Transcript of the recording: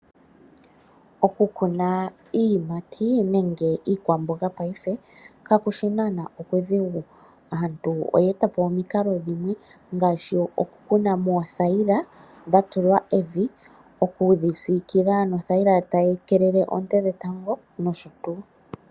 Okukuna iiyimati nenge iikwamboga paife, kakushi naana okudhigu. Aantu oyeeta po omikalo dhimwe, ngaashi okukuna moothayila dhatulwa evi, okuyi siikila nothayila tayi keelele oonte dhetango, nosho tuu.